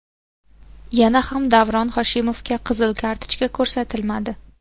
Yana ham Davron Hoshimovga qizil kartochka ko‘rsatilmadi.